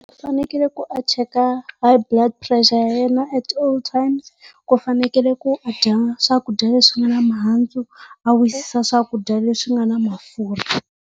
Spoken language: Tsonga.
Ku fanekele ku a cheka high blood pressure ya yena at all times. Ku fanekele a dya swakudya leswi nga na mihandzu, a wisisa swakudya leswi nga na mafurha.